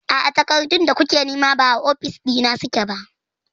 A'a, takardun da kuke nema ba a ofis na suke ba.